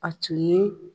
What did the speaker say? A tun ye